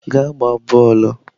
Gaa gbaa bọọlụ!